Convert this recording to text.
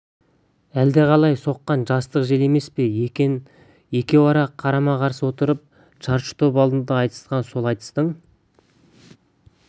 әлдеқалай соққан жастық желі емес пе екен екеуі қарама-қарсы отырып шаршы топ алдында айтысқан сол айтыстың